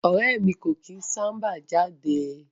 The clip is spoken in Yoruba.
Ọrẹ́ ẹ̀ mi kò kìí sábà jáde.